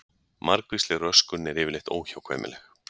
Margvísleg röskun er yfirleitt óhjákvæmileg.